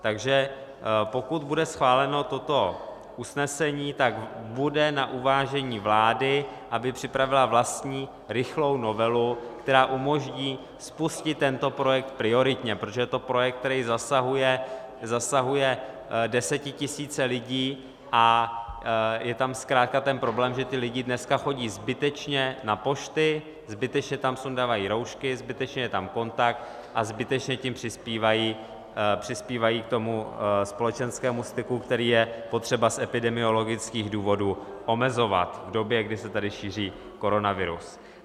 Takže pokud bude schváleno toto usnesení, tak bude na uvážení vlády, aby připravila vlastní rychlou novelu, která umožní spustit tento projekt prioritně, protože to je projekt, který zasahuje desetitisíce lidí, a je tam zkrátka ten problém, že ti lidé dneska chodí zbytečně na pošty, zbytečně tam sundavají roušky, zbytečně je tam kontakt a zbytečně tím přispívají k tomu společenskému styku, který je potřeba z epidemiologických důvodů omezovat v době, kdy se tady šíří koronavirus.